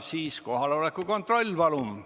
Siis kohaloleku kontroll, palun!